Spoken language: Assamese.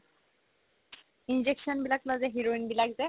injection বিলাক লই যে heroine বিলাক যে